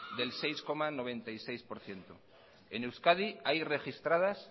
del seis coma noventa y seis por ciento en euskadi hay registradas